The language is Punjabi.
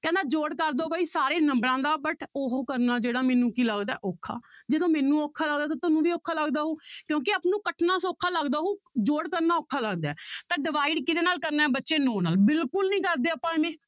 ਕਹਿੰਦਾ ਜੋੜ ਕਰਦੋ ਬਾਈ ਸਾਰੇ ਨੰਬਰਾਂ ਦਾ but ਉਹ ਕਰਨਾ ਜਿਹੜਾ ਮੈਨੂੰ ਕੀ ਲੱਗਦਾ ਔਖਾ, ਜਦੋਂ ਮੈਨੂੰ ਔਖਾ ਲੱਗਦਾ ਤਾਂ ਤੁਹਾਨੂੰ ਵੀ ਔਖਾ ਲੱਗਦਾ ਹੋਊ ਕਿਉਂਕਿ ਆਪਾਂ ਨੂੰ ਕੱਟਣਾ ਸੌਖਾ ਲੱਗਦਾ ਹੋਊ ਜੋੜ ਕਰਨਾ ਔਖਾ ਲੱਗਦਾ ਹੈ ਤਾਂ divide ਕਿਹਦੇ ਨਾਲ ਕਰਨਾ ਹੈ ਬੱਚੇ ਨੋਂ ਨਾਲ ਬਿਲਕੁਲ ਨੀ ਕਰਦੇ ਆਪਾਂ ਇਵੇਂ